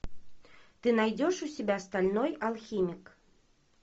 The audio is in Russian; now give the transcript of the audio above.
ты найдешь у себя стальной алхимик